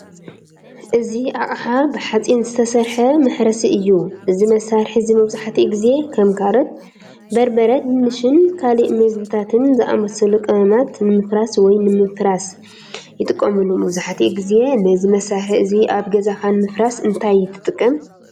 እዚ ኣቕሓ ብሓጺን ዝተሰርሐ መሕረሲ እዩ። እዚ መሳርሒ እዚ መብዛሕትኡ ግዜ ከም ካሮት፡ በርበረ፡ ድንሽን ካልእ መግብታትን ዝኣመሰሉ ቀመማት ንምፍራስ ወይ ንምፍራስ ይጥቀመሉ። መብዛሕትኡ ግዜ ነዚ መሳርሒ እዚ ኣብ ገዛኻ ንምፍራስ እንታይ ትጥቀም?